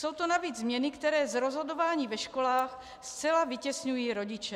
Jsou to navíc změny, které z rozhodování ve školách zcela vytěsňují rodiče.